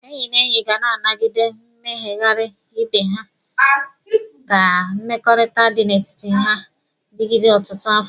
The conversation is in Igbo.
Enyi na enyi ga na-anagide mmeghari ibe ya ka mmekọrịta dị n'etiti ha digide ọtụtụ afọ.